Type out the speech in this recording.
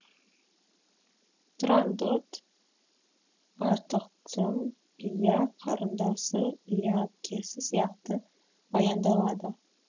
турандот артықтың ия қарындасы ия әпкесі сияқты баяндалады